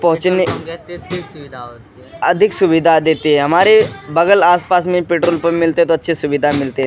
पहुँचने अधिक सुविधा देती है हमारे बगल आस-पास में पेट्रोल पंप मिलते तो अच्छी सुविधा मिलती है।